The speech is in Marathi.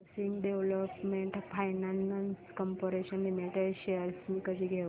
housing development finance corporation limited shares मी कधी घेऊ